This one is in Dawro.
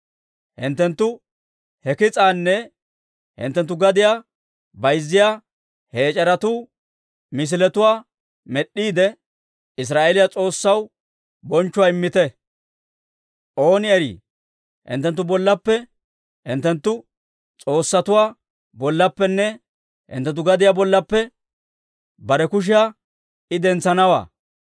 Hinttenttu he kis'aanne hinttenttu gadiyaa bayzziyaa he ec'eretuu misiletuwaa med'd'iide, Israa'eeliyaa S'oossaw bonchchuwaa immite; ooni erii hinttenttu bollappe, hinttenttu s'oossatuwaa bollappenne hinttenttu gadiyaa bollappe bare kushiyaa I dentsanawaa.